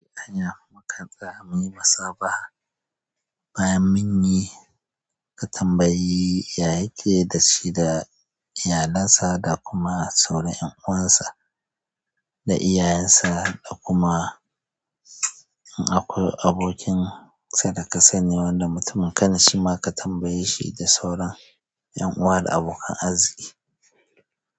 Anya mukam tsaya muyi musa baha ba yan munyi ka tambayi yayake dashi da iyalinsa da kuma sauran 'yan uwansa da iyayensa da kuma in akwai abokin sadaka sanye wanda mutum kana shi ma ka tambaye shi da sauran 'yan uwa da abokan arziki.